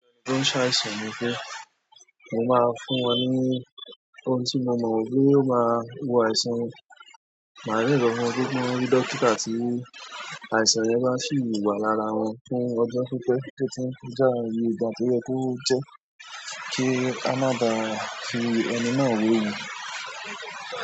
Wọn ò ṣe àìsàn ni pé mo máa ń fún wọn ní ohun tí mo mọ wípé ó máa wo àìsàn wọn, màá rí lọ fún gbogbo dọ́kítà tí àìsàn yẹn bá ṣì wà lára wọn fún ọjọ́ pípẹ́ tó ti ń kọjá ìgbà tó yẹ kó jẹ́ kí á má baà fi ẹni náà wéwu.